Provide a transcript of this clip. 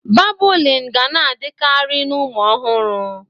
Babụlịn ga na-adịkarị na ụmụ ọhụrụ.